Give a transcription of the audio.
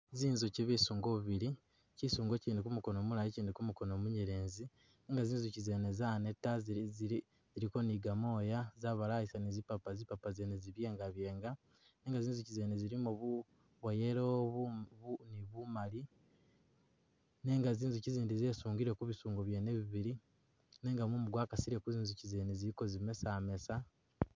Zinzuki bisungo bibili kyisungo kyindi kumukono mulayi kyindi kumukono munyelezi nenga zinzukyi zene zaneta ziliko ni gamwoya zabalayisa ni zipapa zipapa zene zi'byenga'byenga nenga zizukyi zene zilimo bwa yellow ni bumali nenga zinzukyi zindi zisungile kubisungo byene bibili nenga mumu gwakasile kuzinzukyi zene ziliko zimesamesa.